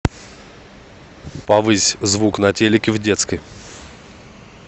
повысь звук на телике в детской